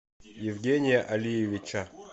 евгения алиевича